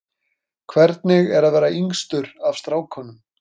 Guðrún: Hvernig er að vera yngstur af strákunum?